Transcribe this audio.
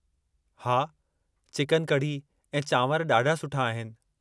हा, चिकन कड़ी ऐं चावंरु ॾाढा सुठा आहिनि।